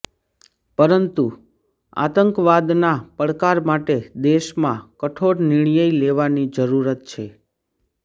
પરંતુ આતંકવાદના પડકાર માટે દેશમાં કઠોર નિર્ણય લેવાની જરૂરત છે